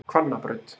Hvannabraut